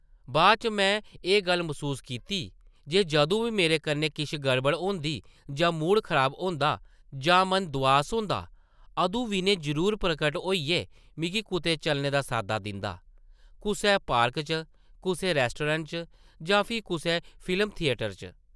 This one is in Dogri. बाद च में एह् गल्ल मसूस कीती जे जदूं बी मेरे कन्नै किश गड़बड़ होंदी जां मूड खराब होंदा जां मन दोआस होंदा, अदूं विनय जरूर प्रकट होइयै मिगी कुतै चलने दा साद्दा दिंदा, कुसै पार्क च, कुसै रैस्टरैंट च जां फ्ही कुसै फिल्म थियेटर च ।